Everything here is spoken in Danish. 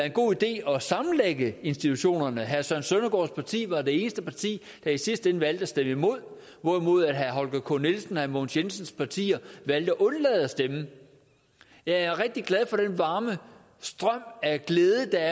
en god idé at sammenlægge institutionerne herre søren søndergaards parti var det eneste parti der i sidste ende valgte at stemme imod hvorimod herre holger k nielsens og herre mogens jensens parti valgte at undlade at stemme jeg er rigtig glad for den varme strøm af glæde der